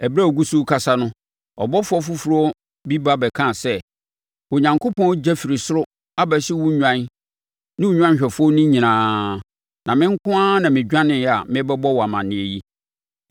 Ɛberɛ a ɔgu so rekasa no, ɔbɔfoɔ foforɔ bi ba bɛkaa sɛ, “Onyankopɔn ogya firi soro abɛhye wo nnwan ne wo nnwanhwɛfoɔ no nyinaa, na me nko ara na medwaneeɛ a merebɛbɔ wo amaneɛ yi.”